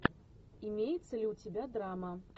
имеется ли у тебя драма